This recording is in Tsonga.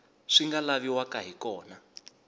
swi nga laviwaka hi kona